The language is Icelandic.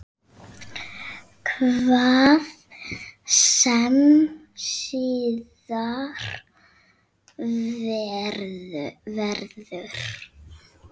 Hvað sem síðar verður.